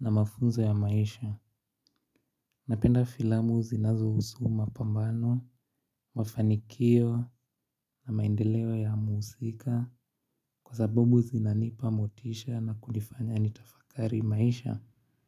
na mafunzo ya maisha. Napenda filamu zinazo husu mapambano, mafanikio na maendeleo ya muhusika kwa sababu zinanipa motisha na kunifanya nitafakari maisha.